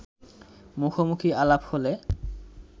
মুখোমুখি আলাপ হলে